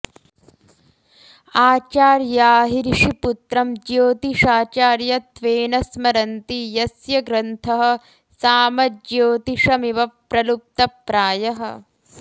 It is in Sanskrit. आचार्या हि ऋषिपुत्रं ज्योतिषाचार्यत्वेन स्मरन्ति यस्य ग्रन्थः सामज्योतिषमिव प्रलुप्तप्रायः